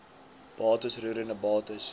bates roerende bates